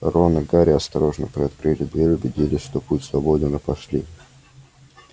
рон и гарри осторожно приоткрыли дверь убедились что путь свободен и пошли